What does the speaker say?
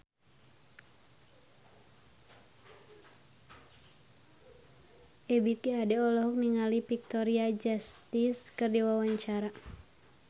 Ebith G. Ade olohok ningali Victoria Justice keur diwawancara